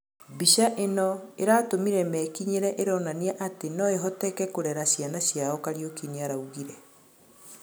mbĩca ĩno "ĩratũmire mekĩnyĩre, ĩronanĩa atĩ noĩhoteke kũrera cĩana cĩao Kariuki nĩaraũgĩre